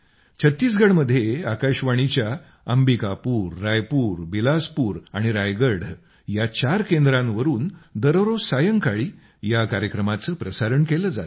छत्तीसगडमध्ये आकाशवाणीच्या अंबिकापूर रायपूर बिलासपूर आणि रायगढ या चार केंद्रांवरून दररोज सायंकाळी या कार्यक्रमाचं प्रसारण केलं जातं